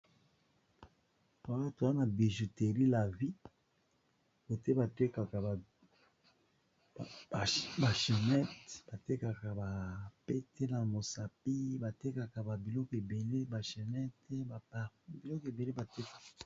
roato wana bijuteri la vie ote kba channete batekaka bapete na mosapi batekaka ik eblbiloko ebele batekaka